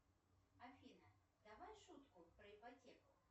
афина давай шутку про ипотеку